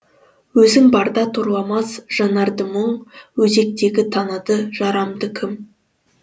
өзің барда торламас жанарды мұң өзектегі танады жарамды кім